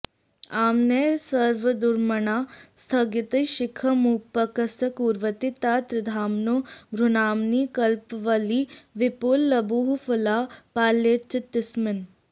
आम्नायस्वर्द्रुमाणां स्थगितशिखमुपस्कुर्वतीं तां त्रिधाम्नो भ्रूनाम्नीं कल्पवल्लीं विपुलबहुफलां पालयेच्चित्तसीम्नि